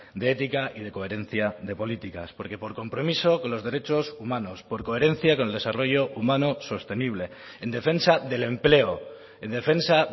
de ética y de coherencia de políticas porque por compromiso con los derechos humanos por coherencia con el desarrollo humano sostenible en defensa del empleo en defensa